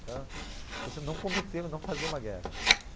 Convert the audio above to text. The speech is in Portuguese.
Para você não cometer não fazer uma guerra.